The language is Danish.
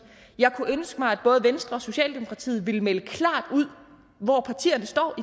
jeg kunne ønske mig at både venstre og socialdemokratiet ville melde klart ud hvor partierne står i